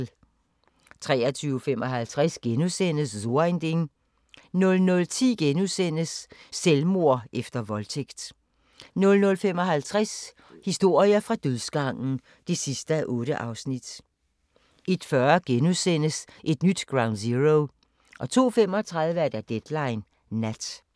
23:55: So ein Ding * 00:10: Selvmord efter voldtægt * 00:55: Historier fra dødsgangen (8:8) 01:40: Et nyt Ground Zero * 02:35: Deadline Nat